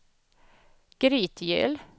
Grytgöl